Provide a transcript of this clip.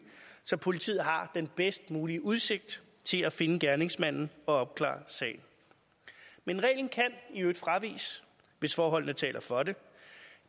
så politiet har den bedst mulige udsigt til at finde gerningsmanden og opklare sagen men reglen kan i øvrigt fraviges hvis forholdene taler for det